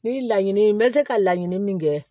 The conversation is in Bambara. Ni laɲini ye n bɛ se ka laɲini min kɛ